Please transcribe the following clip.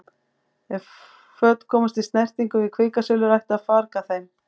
Ef föt komast í snertingu við kvikasilfur ætti að farga þeim.